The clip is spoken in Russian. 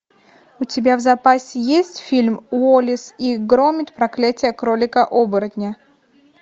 у тебя в запасе есть фильм уоллес и громит проклятие кролика оборотня